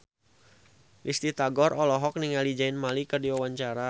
Risty Tagor olohok ningali Zayn Malik keur diwawancara